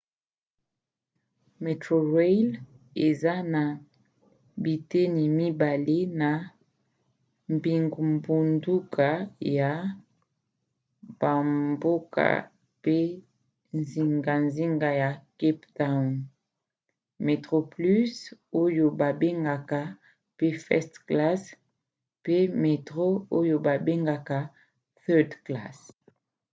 metrorail eza na biteni mibale na bingbunduka ya bamboka pe zingazinga ya cap town: metroplus oyo babengaka pe first class pe metro oyo babengaka third class